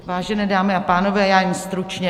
Vážené dámy a pánové, já jen stručně.